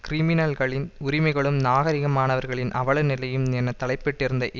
கிரிமினல்களின் உரிமைகளும் நாகரீகமானவர்களின் அவலநிலையும் என தலைப்பிடப்பட்டிருந்த